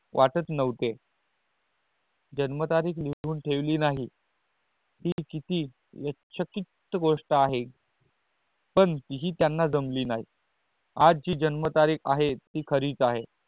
वाटत नव्हते जन्म तारीख लिहून ठेवली नहीं ती कति व्यातचकित गोस्ट आहे पण तिही त्यान जमली नहीं आज जी जन्म तारीख आहे ते खरी आहे